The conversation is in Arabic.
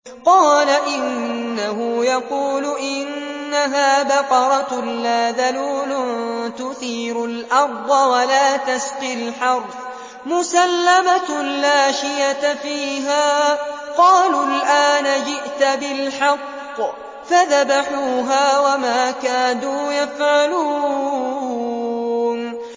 قَالَ إِنَّهُ يَقُولُ إِنَّهَا بَقَرَةٌ لَّا ذَلُولٌ تُثِيرُ الْأَرْضَ وَلَا تَسْقِي الْحَرْثَ مُسَلَّمَةٌ لَّا شِيَةَ فِيهَا ۚ قَالُوا الْآنَ جِئْتَ بِالْحَقِّ ۚ فَذَبَحُوهَا وَمَا كَادُوا يَفْعَلُونَ